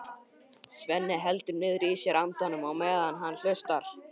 Svenni heldur niðri í sér andanum á meðan hann hlustar.